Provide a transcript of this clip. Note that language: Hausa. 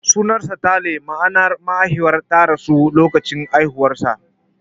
Sunansa Talle, ma'ana mahaifiyar ta rasu a lokacin haihuwarsa.